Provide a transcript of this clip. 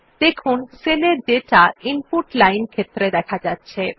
দেখুন সেলের data input line ক্ষেত্রে দেখা যাচ্ছে